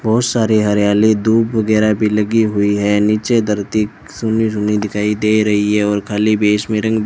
बहुत सारे हरियाली धूप वगैरा भी लगी हुई है नीचे धरती सुनी सुनी दिखाई दे रही है और खाली बेस में रंग --